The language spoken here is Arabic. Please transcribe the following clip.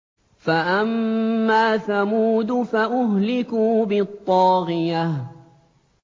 فَأَمَّا ثَمُودُ فَأُهْلِكُوا بِالطَّاغِيَةِ